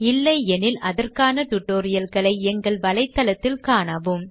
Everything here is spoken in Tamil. இல்லையெனில் அதற்கான tutorial களை எங்கள் வலைத்தளத்தில் காணவும்